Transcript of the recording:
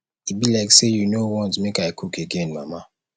e be like say you no want make i cook again mama